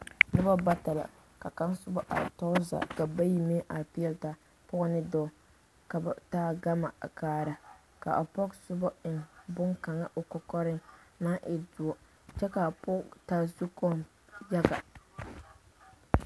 Noba bata la ka kaŋa soba are tɔɔre zaa ka bayi meŋ are peɛle taa pɔge ne dɔɔ ka ba taa gama a kaara ka a pɔge soba eŋ boŋkaŋa o kɔkɔreŋ naŋ e doɔ kyɛ k'a pɔge taa zukoɔ yaga.